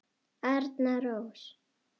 Arna Rós.